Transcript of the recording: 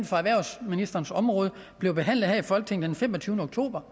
for erhvervsministerens område blev behandlet her i folketinget den femogtyvende oktober